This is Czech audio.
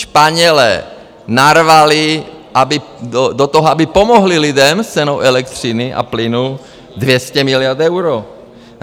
Španělé narvali to toho, aby pomohli lidem s cenou elektřiny a plynu, 200 miliard euro.